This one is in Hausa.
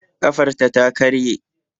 Ƙafarta ta karye